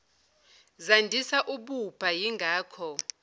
zandisa ububha yingako